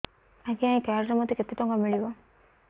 ଆଜ୍ଞା ଏଇ କାର୍ଡ ରେ ମୋତେ କେତେ ଟଙ୍କା ମିଳିବ